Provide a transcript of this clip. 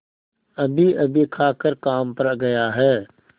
अभीअभी खाकर काम पर गया है